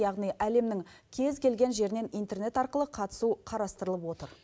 яғни әлемнің кез келген жерінен интернет арқылы қатысу қарастырылып отыр